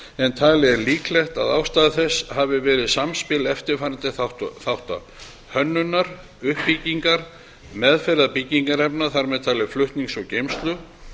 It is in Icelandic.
en talið er líklegt að ástæða þess hafi verið samspil eftirfarandi þátta hönnunar uppbyggingar meðferðar byggingarefni þar með talið flutnings og geymslu